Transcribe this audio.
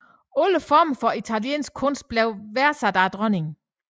Alle former for italienske kunst blev værdsat af dronningen